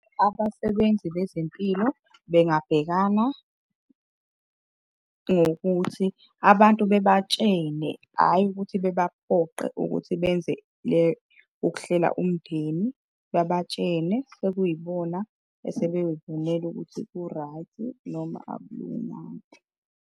Abasebenzi bezempilo bengabhekana ngokuthi abantu bebatshene, hhayi ukuthi bebaphoqe ukuthi benze ukuhlela umndeni. Babatshene, sekuyibona esebeyoyibonela ukuthi ku-right noma akulunganga.